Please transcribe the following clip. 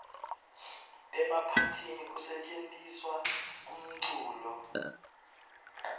emaphathini kusetjentiswa umculo